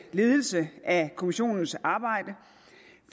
ledelse af kommissionens arbejde